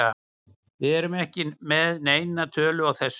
Við erum ekki með neina tölu á þessu.